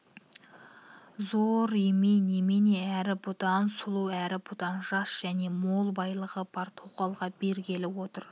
зор емей немене әрі бүдан сұлу әрі бүдан жас және мол байлығы бар тоқалға бергелі отыр